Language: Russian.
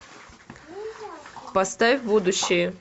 поставь будущее